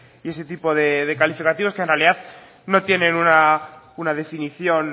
y ese tipo de calificativos que en realidad no tienen una definición